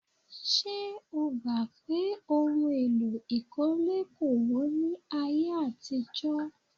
Ṣé o gbà pé ohun èlò ìkọ́lé kò wọ́n ní ayé àtijọ́?